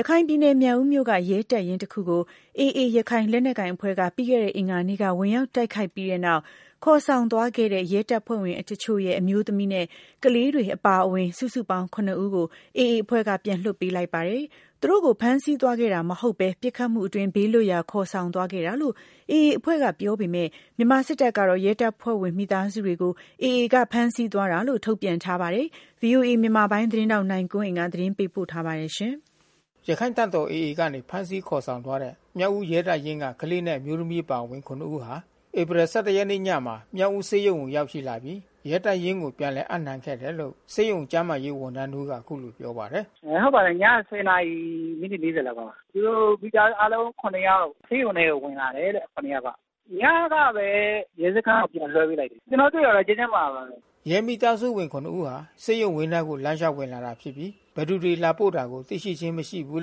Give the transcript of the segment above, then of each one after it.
ရခိုင်ပြည်နယ် မြောက်ဦးမြို့က ရဲတပ်ရင်းတခုကို ရခိုင့်တပ်တော် AA အဖွဲ့က ပြီးခဲ့တဲ့အင်္ဂါနေ့က ဝင်ရောက် တိုက်ခိုက်ခဲ့ပြီးတဲ့နောက် ခေါ်ဆောင်သွားတဲ့ ရဲတပ်ဖွဲ့ဝင်တချို့ရဲ့ အမျိုးသမီးနဲ့ ကလေးအပါဝင် စုစုပေါင်း ၇ ဦးကို AA အဖွဲ့က ပြန်လွှတ်ပေးလိုက်ပါတယ်။ သူတို့ကို ဖမ်းဆီးသွားခဲ့တာ မဟုတ်ဘဲ ပစ်ခတ်မှုအတွင်း ဘေးလွတ်ရာ ခေါ်ဆောင်သွားခဲ့တာလို့ AA အဖွဲ့က ပြောပေမယ့် မြန်မာစစ်တပ်ကတော့ ရဲတပ်ဖွဲ့ဝင်မိသားစုတွေကို AA က ဖမ်းဆီးသွားခဲ့တာလို့ ထုတ်ပြန်ထားပါတယ်။ ဗွီအိုအေ မြန်မာပိုင်းသတင်းထောက် နိုင်ကွန်းအိန်ကနေ သတင်းပေးပို့ထားပါတယ်။ ရခိုင့်တပ်တော် AAကနေ ဖမ်းဆီးခေါ်ဆောင်သွားတဲ့ မြောက်ဦးရဲတပ်ရင်းက ကလေးနဲ့ အမျိုးသမီးအပါဝင် ဦး ဟာ ဧပြီ နေ့ညမှာ မြောက်ဦးဆေးရုံကို ရောက်ရှိလာပြီး ရဲတပ်ရင်းကို ပြန်လည်အပ်နှံခဲ့တယ်လို့ ဆေးရုံကျန်းမာရေး ဝန်ထမ်းတဦးက အခုလိုပြောပါတယ်။ “ဟုတ်ပါတယ်။ ညက နာရီမိနစ် လောက်မှာပါ။ သူတို့ မိသားစုအားလုံး ယောက် ဆေးရုံထဲကို ဝင်လာတယ်တဲ့ ယောက်က။ ညကပဲ ရဲစခန်းကို ပြန်လွှဲပေးလိုက်တာ။ ကျနော်တို့ တွေ့တာတော့ ကျန်းကျန်းမာမာပါပဲ။” ရဲမိသားစုဝင် ဦးဟာ ဆေးရုံဝင်းထဲကို လမ်းလျှောက်ဝင်လာတာဖြစ်ပြီး ဘယ်သူတွေလာပို့တာ သိရှိခြင်းမရှိဘူး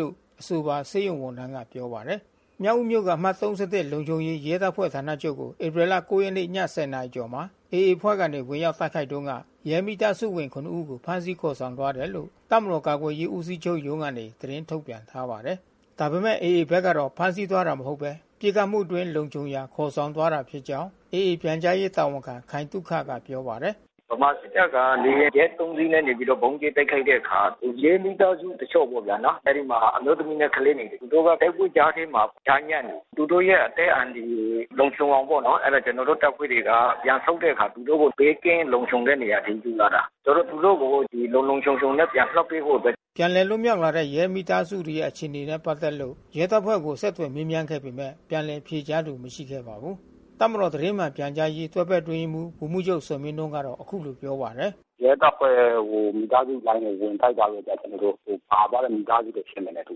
လို့ အဆိုပါဆေးရုံ ဝန်ထမ်းက ပြောပါတယ်။ မြောက်ဦးမြို့က အမှတ် လုံခြုံရေး ရဲတပ်ဖွဲ့ဌာနချုပ်ကို ဧပြီလ ၉ ရက် ည ၁၀ နာရီကျော်မှာ AA အဖွဲ့ကနေ ဝင်ရောက် တိုက်ခိုက်တုန်းက ရဲမိသားစုဝင် ဦးကို ဖမ်းဆီးခေါ်ဆောင်သွားခဲ့တယ်လို့ တပ်မတော်ကာကွယ်ရေး ဦးစီးချုပ်ရုံးကနေ သတင်းထုတ်ပြန်ထားပါတယ်။ ဒါပေမဲ့ AA ဘက်ကတော့ ဖမ်းဆီးသွားတာမဟုတ်ဘဲ ပစ်ခတ်မှုအတွင်း လုံခြုံရာခေါ်ဆောင်သွားတာဖြစ်ကြောင်း AA ပြန်ကြားရေးတာဝန်ခံ ခိုင်သုခက ပြောပါတယ်။ “ဗမာစစ်တပ်က လေယာဉ်ဂျက် စီးနဲ့ ဗုံးကြဲတိုက်ခိုက်တဲ့အခါ ရဲမိသားစုတချို့ပေါ့နော် အဲဒီမှာ အမျိုးသမီးနဲ့ ကလေးငယ်တွေ သူတို့က တိုက်ပွဲကြားထဲမှာ ကြားညှပ်နေတယ်။ သူတို့ရဲ့ အသက်အန္တရာယ် လုံခြုံအောင်ပေါ့နော် ကျနော်တို့ တပ်ဖွဲ့တွေက ပြန်ဆုတ်တဲ့အခါ သူတို့ကို ဘေးကင်းလုံခြုံတဲ့ နေရာအထိ ပြီးမှသာ သူတို့ကို လုံလုံခြုံခြုံနဲ့ ပြန်လွှတ်ပေးဖို့ပဲ။” ပြန်လည်လွတ်မြောက်လာတဲ့ ရဲမိသားစုဝင်တွေရဲ့ အခြေအနေနဲ့ပက်သက်လို့ ရဲတပ်ဖွဲ့ကို ဆက်သွယ်မေးမြန်းပေမယ့် ပြန်လည်ဖြေကြားသူ မရှိခဲ့ပါဘူး။ တပ်မတော် သတင်းမှန်ပြန်ကြားရေး တွဲဖက်အတွင်းရေးမှူး ဗိုလ်မှူးချုပ်ဇော်မင်းထွန်းကတော့ခုလိုပြောပါတယ်။ “ရဲတပ်ဖွဲ့ဝင် မိသားစုလိုင်းတွေ ဝင်တိုက်တဲ့အတွက် ဟိုပါသွားတဲ့ မိသားစုတွေ ဖြစ်မယ်နဲ့တူ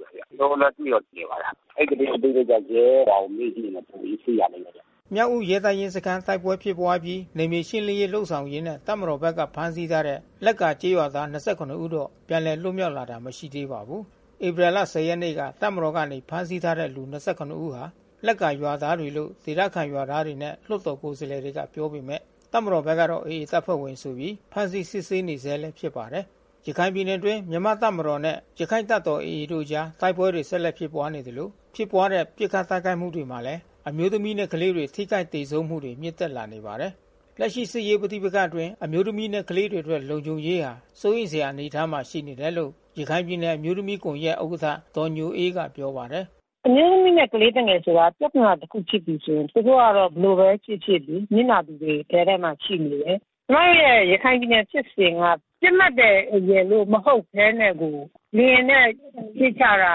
တယ်။ကျနော်တို့တော့ သိတော့သိနေပါတယ်။ အဲဒီသတင်းအသေးစိတ်က ရဲ ဘာတွေမေးကြည့်ရင် ပိုပြီးသိရလိမ့်မယ်ဗျ။” မြောက်ဦးရဲတပ်ရင်းစခန်း တိုက်ပွဲဖြစ်ပွါးအပြီး နယ်မြေရှင်းလင်းရေးလုပ်ဆောင်ရင်း တပ်မတော်ဘက်က ဖမ်းဆီးထားတဲ့ လက်ကာရွာသား ဦးတော့ ပြန်လည်လွတ်မြောက်လာတာ မရှိသေးပါဘူး။ ဧပြီလ ရက်နေ့က တပ်မတော်ကနေ ဖမ်းဆီးထားတဲ့ လူ ဦးဟာ လက်ကာရွာသားတွေလို့ ဒေသခံရွာသားတွေနဲ့ လွှတ်တော်ကိုယ်စားလှယ်တွေက ပြောပေမဲ့ တပ်မတော်ဘက်ကတော့ AA တပ်ဖွဲ့ဝင်တွေဆိုပြီး ဖမ်းဆီးစစ်ဆေးနေဆဲလည်း ဖစ်ပါတယ်။ ရခိုင်ပြည်နယ်အတွင်း မြန်မာ့တပ်မတော်နဲ့ ရခိုင်တပ်တော် AA တို့အကြား တိုက်ပွဲတွေဆက်လက် ဖြစ်ပွါးနေသလို ဖြစ်ပွါးတဲ့ ပစ်ခတ်တိုက်ခိုက်မှုတွေမှာလည်း အမျိုးသမီးနဲ့ ကလေးတွေ ထိခိုက်သေဆုံးမှုတွေ မြင့်တက်လာနေပါတယ်။ လက်ရှိစစ်ရေး ပဋိပက္ခအတွင်းမှာ အမျိုးသမီးနဲ့ ကလေးတွေအတွက်လုံခြုံရေးဟာ စိုးရိမ်စရာအနေအထားမှာ ရှိနေတယ်လို့ ရခိုင်ပြည်နယ်အမျိုးသမီး ကွန်ယက်ဥက္ကဋ္ဌ ဒေါ်ညိုအေးက ပြောပါတယ်။ “အမျိုးသမီးနဲ့ ကလေးသူငယ်တွေဆိုတာ ပြဿနာတခုခုဖြစ်ပြီဆိုရင် သူတို့ကတော့ဘယ်လိုပဲဖြစ်ဖြစ်လေ နစ်နာသူတွေထဲမှာ ရှိနေတယ်။ ကျွန်မတို့ရဲ့ ရခိုင်ပြည်နယ်ဖြစ်စဉ်က ပစ်မှတ်ရယ်လို့ မဟုတ်ဘဲနဲ့ကို လေယာဉ်နဲ့ ပစ်ကြတာ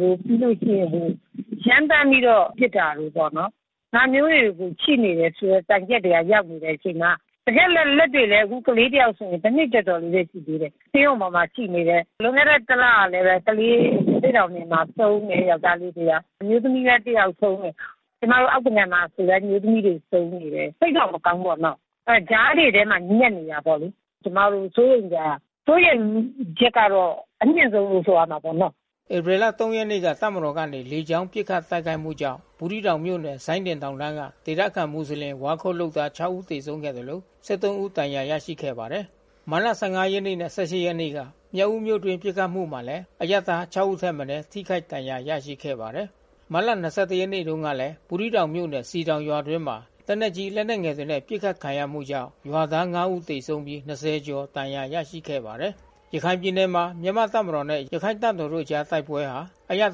တွေ၊ ပြီးလို့ရှိရင် ရမ်းသန်းပြီးပစ်တာတွေပေါ့နော်။ ဒါမျိုးတွေရှိနေတယ်ဆိုတဲ့ တိုင်ချက်တွေရောက်နေတဲ့ အချိန်မှာ တကယ်လည်း လက်တွေ့ပဲ ကလေးတယောက်ဆိုရင် တနှစ်ကျော်ကျော်လေးပဲ ရှိသေးတယ်။ ဆေးရုံပေါ်မှာ ရှိနေတယ်။ လွန်ခဲ့တဲ့ တလကပဲ ကလေး ရသေ့တောင်နယ်မှာ ဆုံးတယ်ယောကျ်ားလေးတယောက်။ အမျိုးသမီးလည်း တယောက်ဆုံးတယ်။ ကျမတို့ အောက်သကန်မှာလဲ အမျိုးသမီးတွေ ဆုံးနေတယ်။ စိတ်တော့မကောင်းဘူးပေါ့နော်။ ကြားတွေထဲမှာ ညှပ်နေတယ်ပေါ့။ ကျမတို့စိုးရိမ်စရာ စိုးရိမ်ချက်ကတော့ အမြင့်ဆုံးလို့ ဆိုရမှာပေါ့နော်။” ဧပြီလ ရက်နေ့က တပ်မတော်ကနေ လေကြောင်း ပစ်ခတ်တိုက်ခိုက်မှုကြောင့် ဘူးသီးတောင်မြို့နယ် စိုင်းဒင် တောင်တန်းက ဒေသခံ မူဆလင်ဝါးခုတ်လုပ်သား ဦးသေဆုံးခဲ့သလို ဦး ဒဏ်ရာရရှိခဲ့ပါတယ်။ မတ်လ ရက်နေ့နဲ့ ရက်နေ့က မြောက်ဦးမြို့အတွင်း ပစ်ခတ်မှုမှာလည်း အရပ်သား ဦးထက်မနည်း ထိခိုက် ဒဏ်ရာရရှိခဲ့ပါတယ်။ မတ်လ ရက်နေ့တုန်းကလည်း ဘူးသီးတောင်မြို့နယ် စည်တောင်ရွာအတွင်းမှာ လက်နက်ကြီး လက်နက်ငယ် တွေနဲ့ ပစ်ခတ်ခံရမှုကြောင့် ရွာသား ဦး သေဆုံးပြီး ကျော် ဒဏ်ရာရရှိခဲ့ပါတယ်။ ရခိုင်ပြည်နယ်မှာ မြန်မာ့တပ်မတော်နဲ့ ရခိုင့်တပ်တော်တို့ အကြား တိုက်ပွဲဟာ အရပ်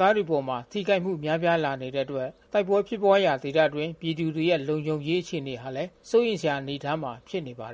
သားတွေအပေါ် ထိခိုက်မှု များပြားလာလာနေတဲ့အတွက် တိုက်ပွဲဖြစ်ပွါးရာ ဒေသအတွင်း ပြည်သူတွေရဲ့ လုံခြုံရေး အခြေအနေဟာလည်း စိုးရိမ်စရာ အနေအထားမှာ ဖြစ်နေပါတယ်